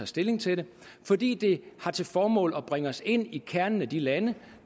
stilling til det fordi det har til formål at bringe os ind i kernen af de lande